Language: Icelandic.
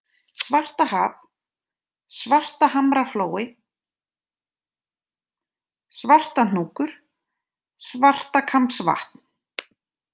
Svartahaf, Svartahamraflói, Svartahnúkur, Svartakambsvatn